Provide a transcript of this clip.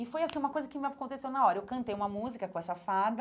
E foi assim uma coisa que aconteceu na hora, eu cantei uma música com essa fada,